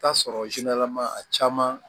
Taa sɔrɔ a caman